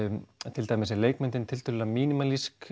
til dæmis er leikmyndin tiltölulega